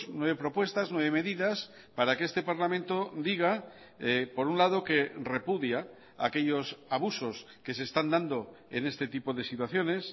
nueve propuestas nueve medidas para que este parlamento diga por un lado que repudia aquellos abusos que se están dando en este tipo de situaciones